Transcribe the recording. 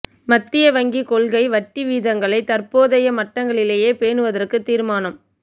மத்திய வங்கி கொள்கை வட்டி வீதங்களை தற்போதைய மட்டங்களிலேயே பேணுவதற்கு தீர்மானம்